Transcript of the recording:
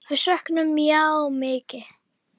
Við söknum Maju mikið.